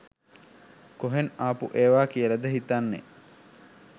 කොහෙන් ආපු ඒවා කියලද හිතන්නෙ